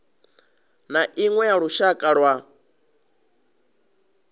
na iṅwe ya lushaka lwa